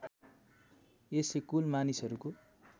यसले कुल मानिसहरूको